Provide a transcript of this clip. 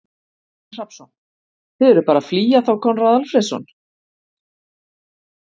Kristinn Hrafnsson: Þið eruð bara að flýja þá Konráð Alfreðsson?